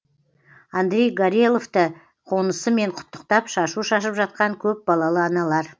андрей гореловты қонысымен құттықтап шашу шашып жатқан көп балалы аналар